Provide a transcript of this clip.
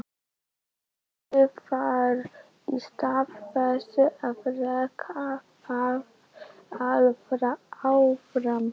Leitt það í stað þess að reka það áfram.